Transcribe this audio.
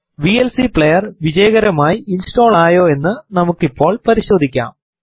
VLC player വിജയകരമായി install ആയോ എന്ന് നമുക്ക് ഇപ്പോൾ പരിശോധിക്കാം